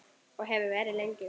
Og hefði verið lengi.